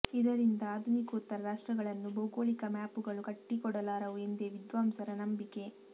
ಇದರಿಂದ ಆಧುನಿಕೋತ್ತರ ರಾಷ್ಟ್ರಗಳನ್ನು ಭೌಗೋಳಿಕ ಮ್ಯಾಪುಗಳು ಕಟ್ಟಿಕೊಡಲಾರವು ಎಂದೇ ವಿದ್ವಾಂಸರ ನಂಬಿಕೆ